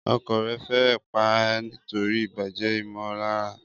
Ọkọ rẹ̀ fẹ́rẹ̀ẹ́ pa á nítorí ìbàjẹ́ ìmọ̀lára.